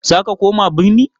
Za ka koma birni?